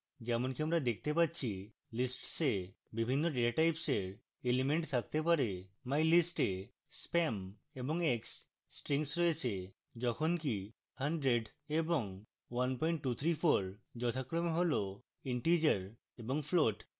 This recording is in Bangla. যেমনকি আমরা দেখতে পাচ্ছি lists we বিভিন্ন datatypes এর elements থাকতে পারে